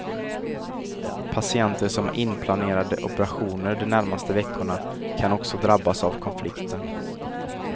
Patienter som har inplanerade operationer de närmaste veckorna kan också drabbas av konflikten.